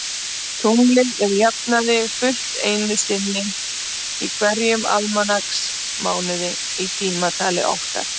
Tunglið er að jafnaði fullt einu sinni í hverjum almanaksmánuði í tímatali okkar.